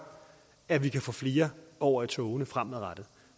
at vi kan få flere over i togene fremadrettet